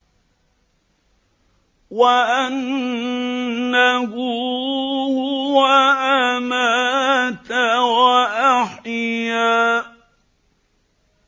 وَأَنَّهُ هُوَ أَمَاتَ وَأَحْيَا